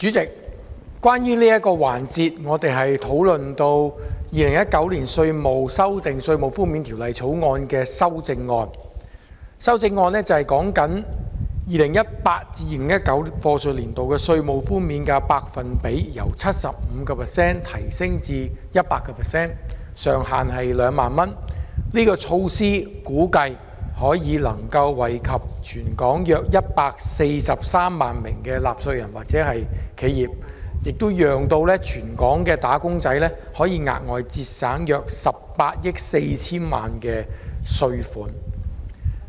主席，我們在這個環節討論《2019年稅務條例草案》的修正案，是關於將 2018-2019 課稅年度的稅務寬免百分比由 75% 提升至 100%， 上限是2萬元，估計這項措施可以惠及全港約143萬納稅人或企業，讓全港"打工仔"額外節省約18億 4,000 萬元稅款。